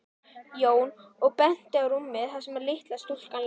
Jón og benti á rúmið þar sem litla stúlkan lá.